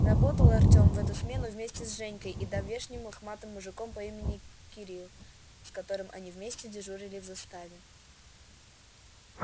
работал артём в эту смену вместе с женькой и давешним лохматым мужиком по имени кирилл с которым они вместе дежурили в заставе